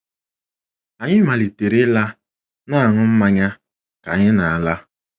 Anyị malitere ịla — na - aṅụ mmanya ka anyị na - ala.